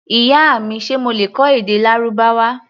Ìyá mi, ṣe mo lè kọ́ èdè Lárúbáwá?